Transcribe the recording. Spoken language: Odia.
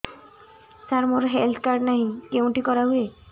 ସାର ମୋର ହେଲ୍ଥ କାର୍ଡ ନାହିଁ କେଉଁଠି କରା ହୁଏ